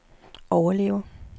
overleve